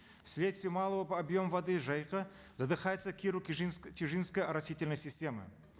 вследствие малого объема воды жайыка задыхается киру тишинская оросительная система